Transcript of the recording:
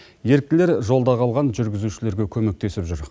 еріктілер жолда қалған жүргізушілерге көмектесіп жүр